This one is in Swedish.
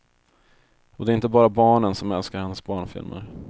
Och det är inte bara barnen som älskar hennes barnfilmer.